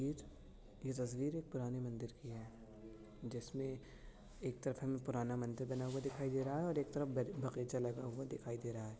ये तस्वीर पुराने मंदिर की है जिसमें एक तरफ हमें पुराना मंदिर बना हुआ दिखाई दे रहा है और एक तरफ ब बगाईचा लगा हुआ दिखाई दे रहा है।